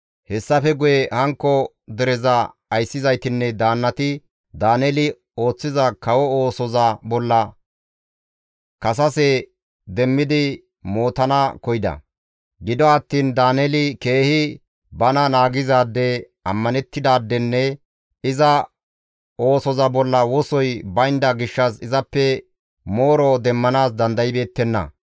Hessafe guye hankko dereza ayssizaytinne daannati Daaneeli ooththiza kawo oosoza bolla kasase demmidi mootana koyida; gido attiin Daaneeli keehi bana naagizaade, ammanettidaadenne iza oosoza bolla wosoy baynda gishshas izappe mooro demmanaas dandaybeettenna.